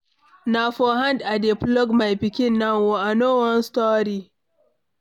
Na for hand I dey flog my pikin now oo, I no wan story.